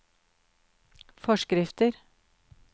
forskrifter